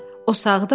O sağdımı?